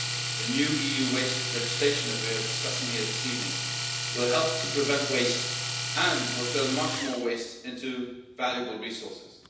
The new EU waste legislation that we are discussing here this evening will help to prevent waste and will turn much more waste into valuable resources.